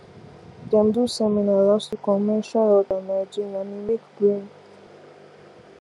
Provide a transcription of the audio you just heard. dem do seminar last week on menstrual health and hygiene and e make brain